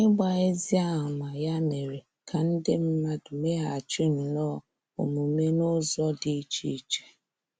Ịgba ezi ámá ya mere ka ndị mmadụ mmeghachi nnọọ omume n'ụzọ dị iche iche.